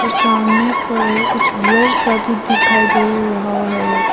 और सामने पर कुछ ब्लर सा भी दिखाई दे रहा है।